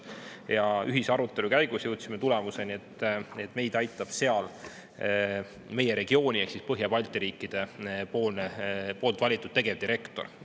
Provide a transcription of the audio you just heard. Ja ühise arutelu käigus jõudsime tulemuseni, et meid aitab seal meie regiooni ehk Põhja-Balti riikide valitud tegevdirektor.